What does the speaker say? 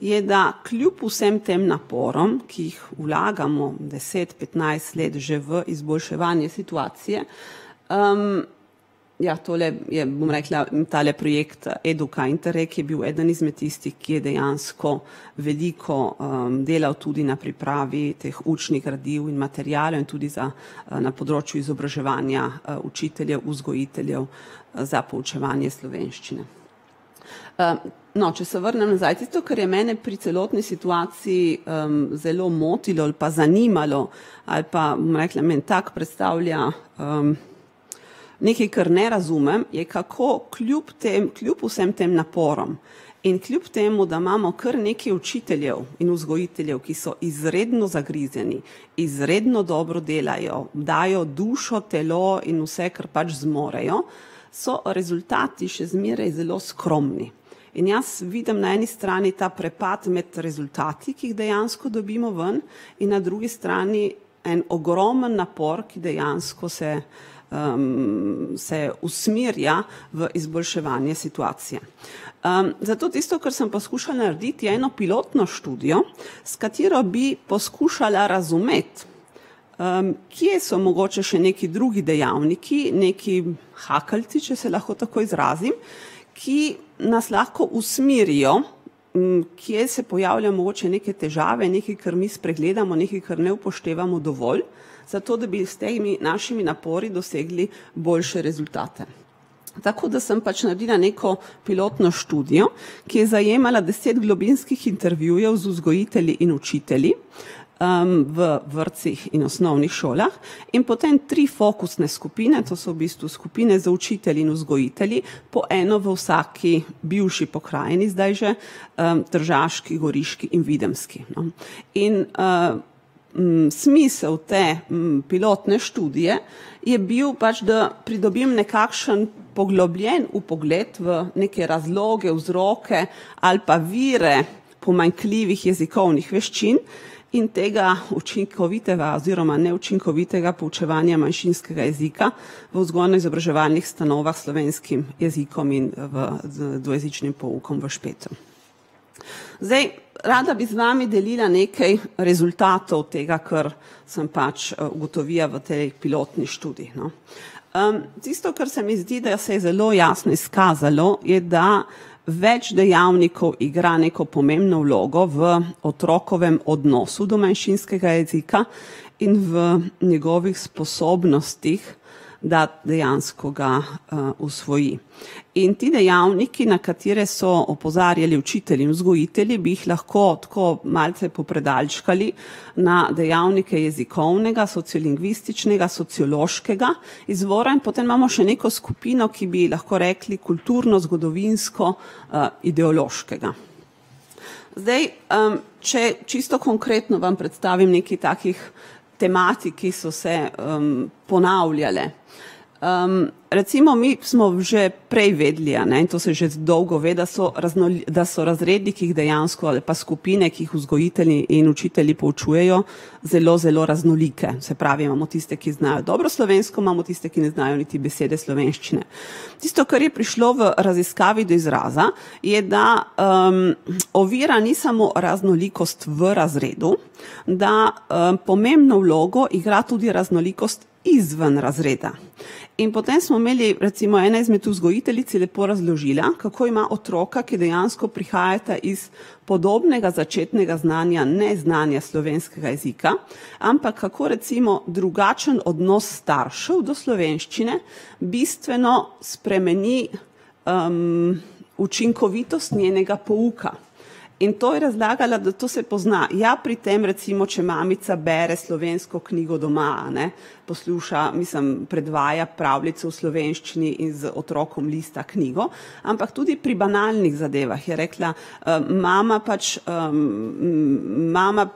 je, da kljub vsem tem naporom, ki jih vlagamo deset, petnajst let že v izboljševanje situacije, ja, tole je, bom rekla, tale projekt Eduka Interreg, je bil eden izmed tistih, ki je dejansko veliko, delal tudi na pripravi teh učnih gradiv in materialov in tudi tudi za, na področju izobraževanja, učiteljev, vzgojiteljev, za poučevanje slovenščine. no, če se vrnem nazaj, tisto, kar je mene pri celotni situaciji, zelo motilo ali pa zanimalo ali pa, bom rekla, mi en tak predstavlja, nekaj, kar ne razumem, je, kako kljub tem kljub vsem tem naporom in kljub temu, da imamo kar nekaj učiteljev in vzgojiteljev, ki so izredno zagrizeni, izredno dobro delajo, dajo dušo, telo in vse, kar pač zmorejo, so rezultati še zmeraj zelo skromni. In jaz vidim na eni strani ta prepad med rezultati, ki jih dejansko dobimo ven, in na drugi strani en ogromen napor, ki dejansko se, se usmerja v izboljševanje situacije. zato tisto, kar sem poskušala narediti, je eno pilotno študijo, s katero bi poskušala razumeti, kje so mogoče še nekaj drugi dejavniki, neki hakeljci, če se lahko tako izrazim, ki nas lahko usmerijo. kje se pojavljajo mogoče neke težave, nekaj, kar mi spregledamo, nekaj, kar ne upoštevamo dovolj, zato da bi s temi našimi napori dosegli boljše rezultate. Tako da sem pač naredila neko pilotno študijo, ki je zajemala deset globinskih intervjujev z vzgojitelji in učitelji. v vrtcih in osnovnih šolah in potem tri fokusne skupine, to so v bistvu skupine z učitelji in vzgojitelji po eno v vsaki bivši pokrajini zdaj že, Tržaški, Goriški in Videmski. In, smisel te, pilotne študije je bil pač, da pridobim nekakšen poglobljen vpogled v neke razloge, vzroke ali pa vire pomanjkljivih jezikovnih veščin in tega učinkovitega oziroma neučinkovitega poučevanja manjšinskega jezika v vzgojno-izobraževalnih ustanovah slovenskim jezikom in, v dvojezičnim poukom v Špetru. Zdaj rada bi z vami delila nekaj rezultatov tega, kar sem pač, ugotovila v tej pilotni študiji, no. tisto, kar se mi zdi, da se je zelo jasno izkazalo, je, da več dejavnikov igra neko pomembno vlogo v otrokovem odnosu do manjšinskega jezika in v njegovih sposobnostih, da dejansko ga, usvoji. In ti dejavniki, na katere so opozarjali učitelji, vzgojitelji bi jih lahko tako malce popredalčkali na dejavnike jezikovnega, sociolingvističnega, sociološkega izvora, potem imamo še neko skupino, ki bi lahko rekli kulturno-zgodovinsko-, -ideološkega. Zdaj, če čisto konkretno vam predstavim nekaj takih tematik, ki so se, ponavljale. recimo mi smo že prej vedeli, a ne, to se že dolgo ve, da so da so razredi, ki jih dejansko, ali pa skupine, ki jih vzgojitelji in učitelji poučujejo, zelo, zelo raznolike. Se pravi, imamo tiste, ki znajo dobro slovensko, imamo tiste, ki ne znajo niti besede slovenščine. Tisto, kar je prišlo v raziskavi do izraza, je, da, ovira ni samo raznolikost v razredu, da, pomembno vlogo igra tudi raznolikost izven razreda. In potem smo imeli, recimo ena izmed vzgojiteljic je lepo razložila, kako ima otroka, ki dejansko prihajata iz podobnega začetnega znanja, neznanja slovenskega jezika, ampak kako recimo drugačen odnos staršev do slovenščine bistveno spremeni, učinkovitost njenega pouka. In to je razlagala, da to se pozna, ja, pri tem recimo, če mamica bere slovensko knjigo doma, a ne. Posluša, mislim, predvaja pravljico v slovenščini in z otrokom lista knjigo, ampak tudi pri banalnih zadevah je rekla, mama pač, mama